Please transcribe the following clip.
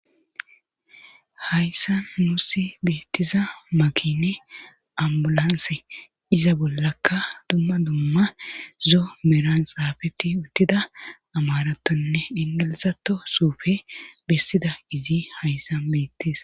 hayssa nuussi beettiza makine ambulanse iza bollakka dumma dumma zo meran xaafeti uttida amaratonne ingilizato suufe bessida izi hayssan beettes